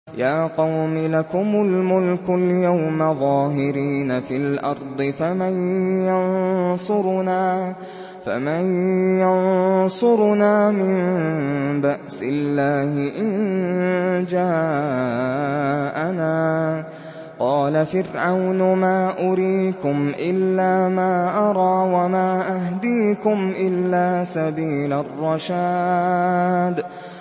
يَا قَوْمِ لَكُمُ الْمُلْكُ الْيَوْمَ ظَاهِرِينَ فِي الْأَرْضِ فَمَن يَنصُرُنَا مِن بَأْسِ اللَّهِ إِن جَاءَنَا ۚ قَالَ فِرْعَوْنُ مَا أُرِيكُمْ إِلَّا مَا أَرَىٰ وَمَا أَهْدِيكُمْ إِلَّا سَبِيلَ الرَّشَادِ